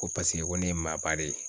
Ko paseke ko ne ye maaba de ye